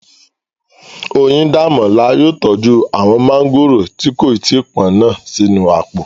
Oyíndàmọ́lá yóò tọ́jú àwọn mọ́ngòrò tí kò tí pọ́n náà sínú àpò